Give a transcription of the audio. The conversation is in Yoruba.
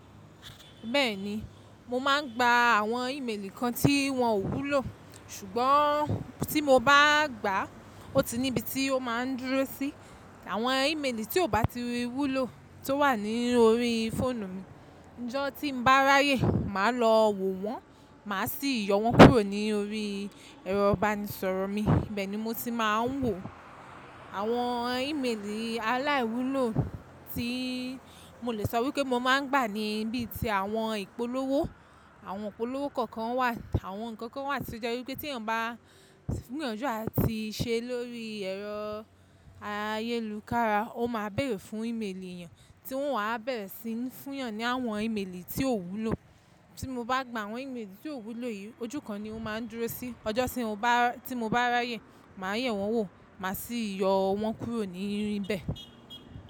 Bẹ́ẹ̀ni, mo máa ń gba àwọn ìmelì kan tí wọ́n ò wúlò, ṣùgbọ́n tí mo bá gbà ó ti níbi tí ó máa ń dúró sí. Àwọn ìmelì tí ò bá ti wúlò tó wà lórí fóònù mi, ọjọ́ tí mo bá ráyè màá lọ wò wọ́n, màá sì yọ wọ́n kúrò ní orí ẹ̀rọ ìbánisọ̀rọ̀ mi. Ibẹ̀ ni mo ti máa ń wò àwọn ìmelì aláìwúlò tí mo lè sọ wípé mo máa ń gbà níbí ti àwọn ìpolówó. Àwọn ìpolówó kọ̀ọ̀kan wà, àwọn ǹkan kan wà tí ó jẹ́ wípé tí èèyàn bá gbìyànjú àti ṣe lórí ẹ̀rọ ayélukára, ó máa bèèrè fún ìmelì èèyàn, tí wọ́n wà á bẹ̀rẹ̀ sí ń fún yàn ní àwọn ìmelì tí ò wúlò. Tí mo bá gba àwọn ìmelì tí ò wúlò yìí, ojú kan ni ó máa ń dúró sí, ọjọ́ tí mo bá ráyè màá ye wọ́n wò, màá sì yọ wọ́n kúrò ní ibẹ̀